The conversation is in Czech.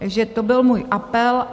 Takže to byl můj apel.